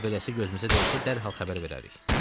Əgər belədirsə, gözümüzə dəysə, dərhal xəbər verərik.